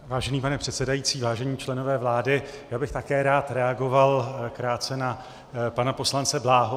Vážený pane předsedající, vážení členové vlády, já bych také rád reagoval krátce na pana poslance Bláhu.